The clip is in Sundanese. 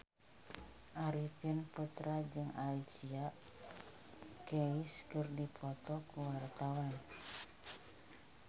Arifin Putra jeung Alicia Keys keur dipoto ku wartawan